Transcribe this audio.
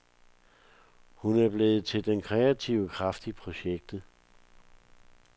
Hun er blevet til den kreative kraft i projektet.